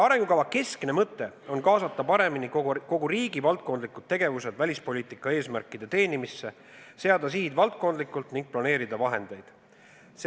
Arengukava keskne mõte on kaasata paremini kogu riigi valdkondlikud tegevused välispoliitika eesmärkide teenimisse, seada sihid valdkondlikult ning planeerida vahendeid.